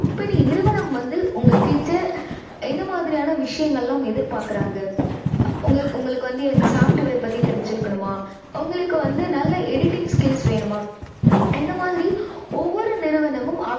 company நிறுவனம் வந்து உங்ககிட்ட என்ன மாதிரியான விஷயங்கள் எல்லாம் எதிர்பார்க்கிறாங்க. உங்களுக்~உங்களுக்கு வந்து software பத்தி தெரிஞ்சுருக்கணுமா? உங்களுக்கு நல்ல editing skills வேணுமா? இந்த மாதிரி ஒவ்வொரு நிறுவனமும்